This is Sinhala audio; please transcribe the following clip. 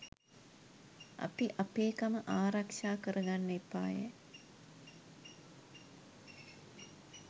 අපි අපේ කම ආරක්ෂා කර ගන්න එපාය